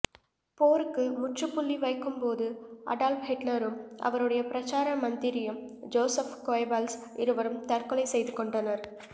போருக்கு முற்றுப்புள்ளி வைக்கும்போது அடால்ப் ஹிட்லரும் அவருடைய பிரச்சார மந்திரியும் ஜோசப் கோயபல்ஸ் இருவரும் தற்கொலை செய்துகொண்டனர்